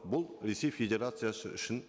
бұл ресей федерациясы үшін